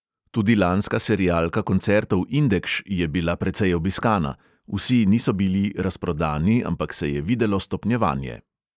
Tudi lanska serialka koncertov indekš je bila precej obiskana – vsi niso bili razprodani, ampak se je videlo stopnjevanje.